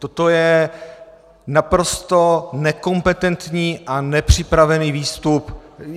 Toto je naprosto nekompetentní a nepřipravený výstup.